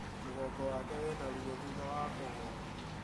Mũgongo wake wĩna ruo thutha wa kũgwa